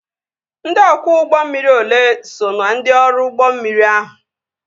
Ndị ọkwọ ụgbọ mmiri olee so na ndị ọrụ ụgbọ mmiri ahụ?